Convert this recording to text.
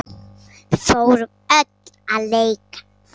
Við fórum öll að leika.